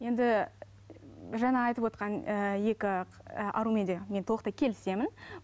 енді жаңа айтывотқан ыыы екі і арумен де мен толықтай келісемін